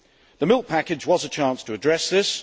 The milk package was a chance to address this.